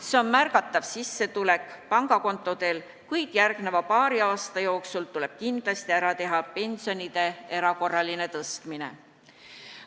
See on märgatav sissetuleku kasv, kuid järgmise paari aasta jooksul tuleb kindlasti ära teha pensionide erakorraline tõstmine.